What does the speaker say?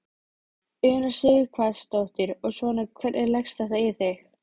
Una Sighvatsdóttir: Og svona, hvernig leggst þetta í þig?